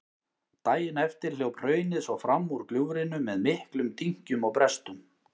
Daginn eftir hljóp hraunið svo fram úr gljúfrinu með miklum dynkjum og brestum.